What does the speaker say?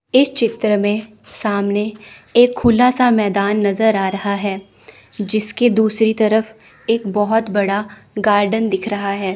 इस चित्र में सामने एक खुला सा मैदान नजर आ रहा है। इसके दूसरी तरफ एक बहुत बड़ा गार्डन दिख रहा है।